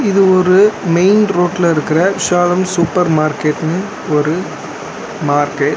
இது ஒரு மெயின் ரோட்ல இருக்குற விசாலம் சூப்பர் மார்கெட்னு ஒரு மார்கெட் .